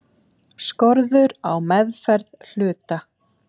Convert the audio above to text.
Skorður á meðferð hluta.